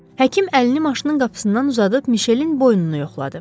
Həkim əlini maşının qapısından uzadıb Mişelin boynunu yoxladı.